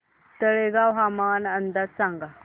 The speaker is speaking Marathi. तळेगाव हवामान अंदाज सांगा